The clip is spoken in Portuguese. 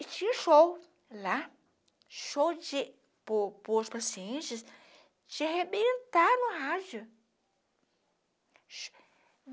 E tinha show lá, show de, para os para os pacientes, de arrebentar no rádio.